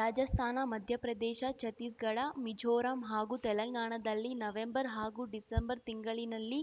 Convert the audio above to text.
ರಾಜಸ್ಥಾನ ಮಧ್ಯಪ್ರದೇಶ ಛತ್ತೀಸ್‌ಗಢ ಮಿಜೋರಂ ಹಾಗೂ ತೆಲಂಗಾಣದಲ್ಲಿ ನವೆಂಬರ್‌ ಹಾಗೂ ಡಿಸೆಂಬರ್‌ ತಿಂಗಳಿನಲ್ಲಿ